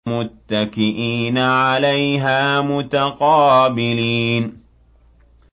مُّتَّكِئِينَ عَلَيْهَا مُتَقَابِلِينَ